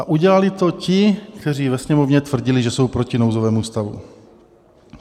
A udělali to ti, kteří ve Sněmovně tvrdili, že jsou proti nouzovému stavu.